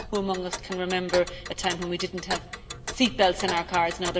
Who among us can remember a time when we did not have seat belts in our cars?